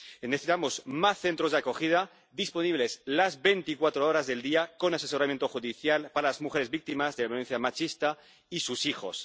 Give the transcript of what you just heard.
Necesitamos más centros de acogida disponibles las veinticuatro horas del día, con asesoramiento judicial para las mujeres víctimas de la violencia machista y sus hijos.